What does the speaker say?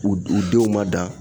U u denw ma dan